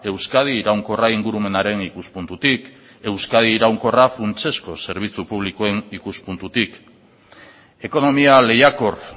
euskadi iraunkorra ingurumenaren ikuspuntutik euskadi iraunkorra funtsezko zerbitzu publikoen ikuspuntutik ekonomia lehiakor